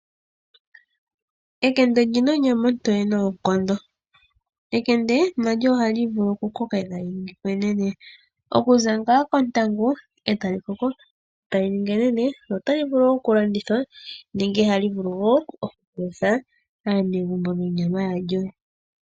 Enkende olina onyama otoye noonkondo .Enkende Na lyo ohali vulu oku koka etali ningi enene. Okuza ngaa kontangu etali koko etali ningi enene notali vulu oku landithwa nenge hali vulu woo oku palutha aanegumbo nonyama ya lyo.